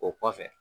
O kɔfɛ